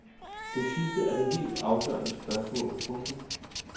Det sidste er det helt afgørende spørgsmål. punktum